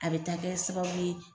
A bɛ taa kɛ sababu ye.